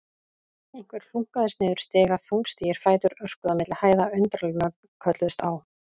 Einhver hlunkaðist niður stiga, þungstígir fætur örkuðu á milli hæða, undarleg nöfn kölluðust á.